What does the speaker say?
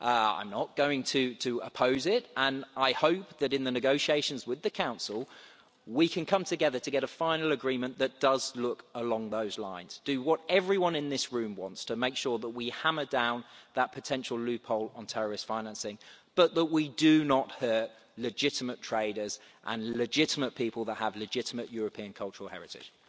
I'm not going to oppose it and I hope that, in the negotiations with the Council, we can come together to get a final agreement that does look along those lines do what everyone in this room wants to make sure that we hammer down that potential loophole on terrorist financing but that we do not hurt legitimate traders and legitimate people that have legitimate European cultural heritage.